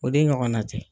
O de ɲɔgɔnna tɛ